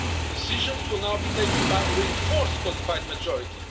Decisions will now be taken by reinforced qualified majority.